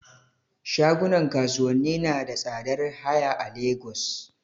Shagunan kasuwanni nada tsadar haya a Lagos